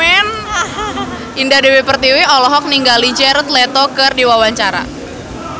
Indah Dewi Pertiwi olohok ningali Jared Leto keur diwawancara